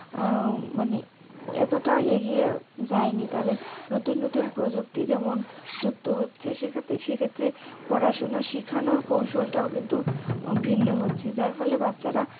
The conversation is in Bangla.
মানে এতটা এগিয়ে যায়নি তাদের নতুন নতুন প্রযুক্তি যেমন যুক্ত হচ্ছে সেক্ষেত্রে সেক্ষেত্রে পড়াশোনা শিখানোর কৌশল টাও কিন্তু ভিন্ন হচ্ছে যার ফলে বাচ্চারা